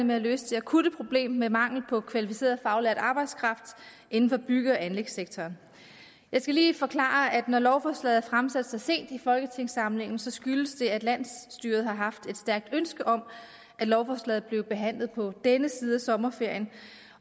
med at løse det akutte problem med mangel på kvalificeret faglært arbejdskraft inden for bygge og anlægssektoren jeg skal lige forklare at når lovforslaget er fremsat så sent i folketingssamlingen skyldes det at landsstyret har haft et stærkt ønske om at lovforslaget blev behandlet på denne side af sommerferien